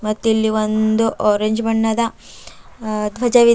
ಮತ್ತು ಇಲ್ ಒಂದು ಆರೆಂಜ್ ಬಣ್ಣದ ಅ ಧ್ವಜವಿದೆ.